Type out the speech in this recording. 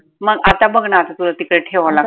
मग आता बघ ना आता तुला तिकडे ठेवावं